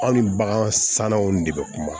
Anw ni bagan sannanw de bɛ kuma